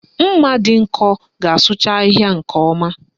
Mma dị nkọ ga-asụcha ahịhịa nke ọma